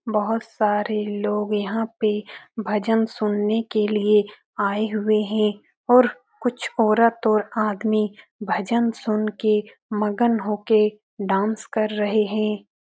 बहुत सारे लोग यहाँ पे भजन सुनने के लिये आये हुए हैं और कुछ औरत और आदमी भजन सुन के और मगन होके डांस कर रहे हैं।